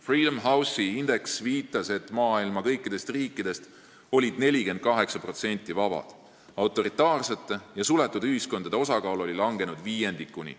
Freedom House'i indeks viitas, et kõikidest maailma riikidest olid 48% vabad ning autoritaarsete ja suletud ühiskondade osakaal oli langenud viiendikuni.